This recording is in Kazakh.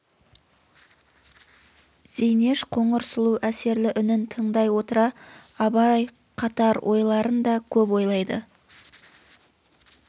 зейнеш қоңыр сұлу әсерлі үнін тыңдай отыра абай қатар ойларын да көп ойлайды